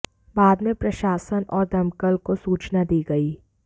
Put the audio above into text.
बाद में प्रशासन और दमकल को सूचना दी गई